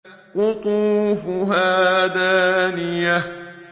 قُطُوفُهَا دَانِيَةٌ